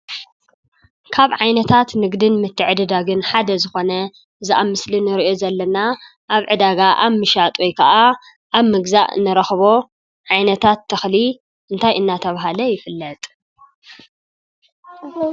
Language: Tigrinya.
ካብ ዓይነታት ንግድን ምትዕድዳግን ሓደ ዝኾነ እዚ ኣብ ምስሊ ንሪኦ ዘለና ኣብ ዕዳጋ ኣብ ምሻጥ ወይ ከዓ ኣብ ምግዛእ ንረክቦ ዓይነታት ተኽሊ እንታይ እንዳተብሃለ ይፍለጥ?